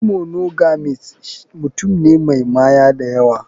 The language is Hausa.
Shi monogamist mutum ne Mai Maya dayawa.